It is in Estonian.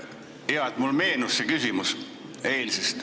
Hea, et mulle mu küsimus meenus.